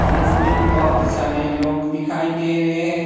जिसमें बहुत सारे लोग दिखाई दे रहे हैं।